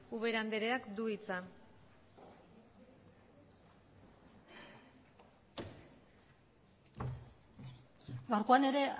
ubera andereak du hitza gaurkoan ere